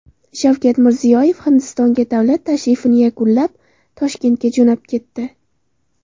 Shavkat Mirziyoyev Hindistonga davlat tashrifini yakunlab, Toshkentga jo‘nab ketdi.